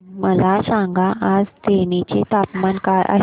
मला सांगा आज तेनी चे तापमान काय आहे